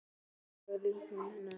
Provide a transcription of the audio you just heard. Aldrei sagði hún nei.